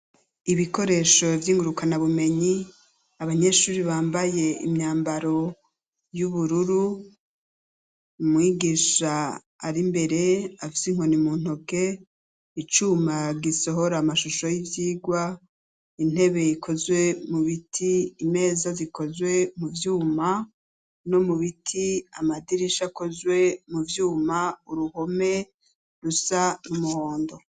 Ibikoresho vyingurukana bumenyi ,abanyeshure bambaye imyambaro y’ubururu ,umwigisha ari mbere afise inkoni muntoke ,icuma gisohora amashusho y’ivyigwa ,intebe ikozwe mu biti, imeza zikozwe muvyuma no mu biti, amadirisha akozwe mu vyuma ,uruhome rusa nk’umuhondo.